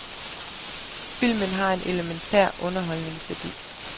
Filmen har en elementær underholdningsværdi.